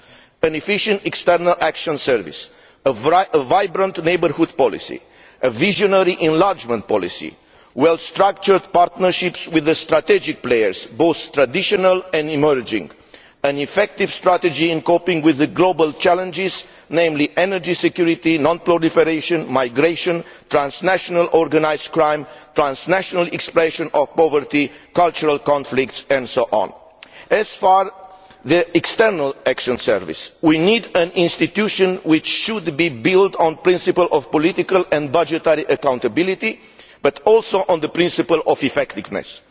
An efficient External Action Service, a vibrant neighbourhood policy, a visionary enlargement policy, well structured partnerships with the strategic players, both traditional and emerging, an effective strategy in coping with the global challenges, namely energy security, non proliferation, migration, transnational organised crime, transnational expression of poverty, cultural conflicts and so on. As far as the External Action Service is concerned, we need an institution which should be built not only on the principle of political and budgetary accountability but also on the principle of effectiveness.